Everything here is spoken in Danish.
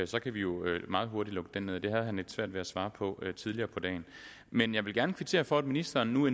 så kan vi jo meget hurtigt lukke den ned for det havde han lidt svært ved at svare på tidligere på dagen men jeg vil gerne kvittere for at ministeren nu